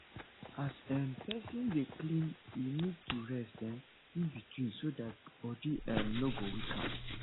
as um person dey clean e need to rest um in between so that body um no go weak am